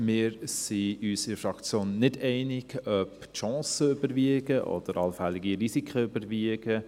Wir sind uns nicht einig, ob die Chancen oder die Risiken überwiegen.